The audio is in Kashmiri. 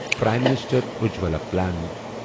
prime minister Ujjwala plan